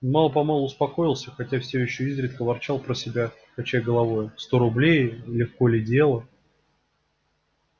мало-помалу успокоился хотя все ещё изредка ворчал про себя качая головою сто рублей легко ли дело